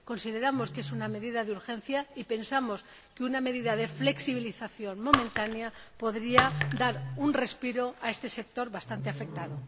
Consideramos que es una medida de urgencia y pensamos que una medida de flexibilización momentánea podría dar un respiro a este sector, bastante afectado.